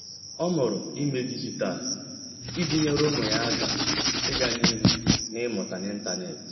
Ọ́ mụrụ ímé dịjịta iji nyèré ụ́mụ́ yá áká ị́gá n’ihu n’ị́mụ́ta n’ị́ntánétị̀.